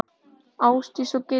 Ásdís og Gylfi.